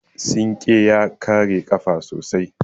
Sinƙe ya kare ƙafa sosai.